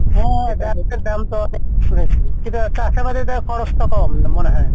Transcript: হ্যাঁ শুনেছি কিন্তু চাষাবাদি দের খরচ তো কম মনে হয়।